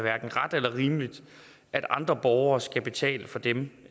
ret eller rimeligt at andre borgere skal betale for dem